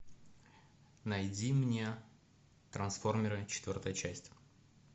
найди мне трансформеры четвертая часть